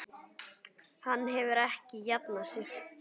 Hann hefur ekki jafnað sig.